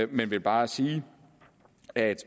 vil bare sige at jeg